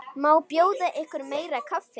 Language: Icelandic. Má bjóða ykkur meira kaffi?